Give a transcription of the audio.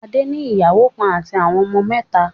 Adé ní ìyàwó kan àti àwọn ọmọ mẹ́ta.